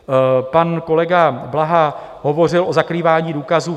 Pan kolega Blaha hovořil o zakrývání důkazů.